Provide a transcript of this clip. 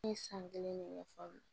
Ne ye san kelen ne ɲɛ fɔ